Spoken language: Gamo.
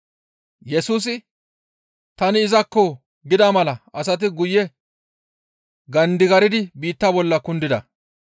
Yesusi, «Tani izakko» gida mala asati guye gandigardi biitta bolla kundida.